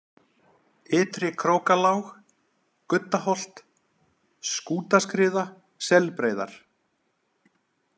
Ytri-Krókalág, Guddaholt, Skútaskriða, Selbreiðar